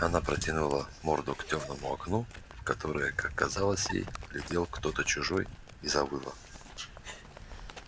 она протянула морду к тёмному окну в которое как казалось ей глядел кто-то чужой и завыла